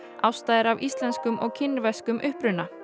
Ásta er af íslenskum og kínverskum uppruna